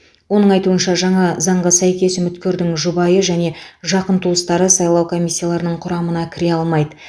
оның айтуынша жаңа заңға сәйкес үміткердің жұбайы және жақын туыстары сайлау комиссияларының құрамына кіре алмайды